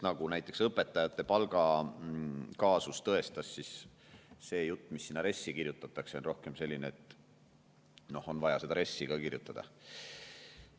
Nagu näiteks õpetajate palgakaasus tõestas, siis see jutt, mis RES-i kirjutatakse, on rohkem nagu selline, et see on vaja sinna RES-i ka kirjutada.